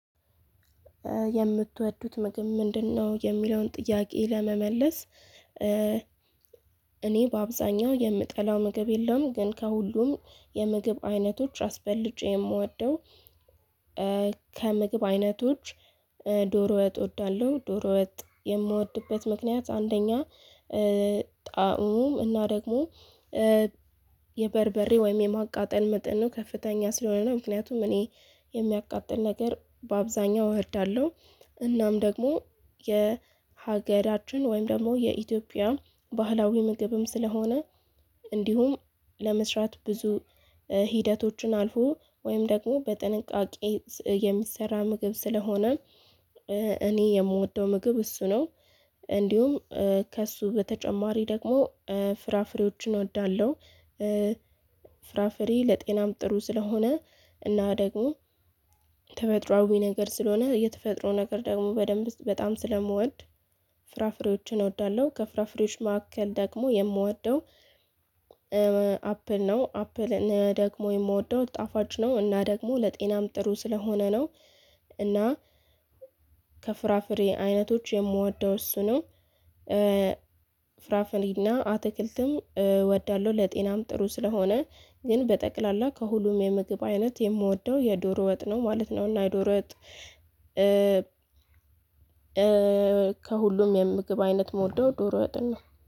የምትወዱት ምግብ ምንድነው የሚለውን ጥያቄ ለመመለስ። እኔ በአብዛኛው የምጠላው ምግብ የለም። ግን ከሁሉም የምግብ አይነቶች አስበልጬ የምወደው። ከምግብ አይነቶች ዶሮ ወጥ እወዳለሁ። ዶሮ ወጥ የምወድበት ምክንያት አንደኛ ጣዕሙ እና ደግሞ የበርበሬ ወይም የማቃጠል መጠኑ ከፍተኛ ስለሆነ ነው። ምክንያቱም እኔ የሚያቃጥል ነገር በአብዛኛው እወዳለው። እናም ደግሞ የሀገራችን ወይም ደግሞ የኢትዮጵያ ባህላዊ ምግብም ስለሆነ እንዲሁም ለመስራት ብዙ ሂደቶችን አልፎ ወይም ደግሞ በጥንቃቄ የሚሰራ ምግብ ስለሆነ። እኔ የምወደው ምግብ እሱ ነው። እንዲሁም ከእሱ በተጨማሪ ደግሞ ፍራፍሬዎችን እወዳለሁ። ፍራፍሬ ለጤናም ጥሩ ስለሆነ እና ደግሞ ተፈጥሮአዊ ነገር ስለሆነ የተፈጥሮ ነገር ደግሞ በደንብ በጣም ስለምወድ ፍራፍሬዎችን እወዳለሁ። ከፍራፍሬዎች መካከል ደግሞ የምወደው አፕል ነው። አፕል ደግሞ የምወደው ጣፋጭ ነው እና ደግሞ ለጤናም ጥሩ ስለሆነ ነው። እና ከፍራፍሬ አይነቶች የምወደው እሱ ነው። ፍራፍሬና አትክልትም እወዳለሁ ለጤናም ጥሩ ስለሆነ ግን በጠቅላላ ከሁሉም የምግብ አይነት የምወደው የዶሮ ወጥ ነው ማለት ነው። እና ዶሮ ወጥ ከሁሉም የምግብ አይነት ምወደው ዶሮ ወጥን ነው